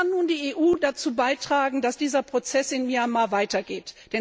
Was kann die EU dazu beitragen, dass dieser Prozess in Myanmar weitergeht?